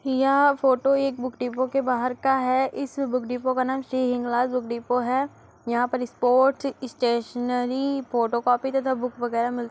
यह फोटो एक book depot के बाहर का है। इस बुक डिपो का नाम श्री हिंगलाज बुक डिपो है। यहाँ पे स्पोर्ट स्टेशनरी फोटोकॉपी तथा बुक वगेरा मिलती --